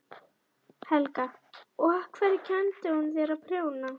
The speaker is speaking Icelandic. Helga: Og af hverju kenndi hún þér að prjóna?